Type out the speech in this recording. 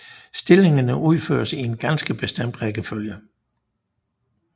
Stillingerne udføres i en ganske bestemt rækkefølge